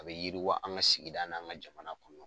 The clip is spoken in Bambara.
A be yiriwa an ka sigida n'an ka jamana kɔnɔ